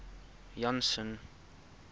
janson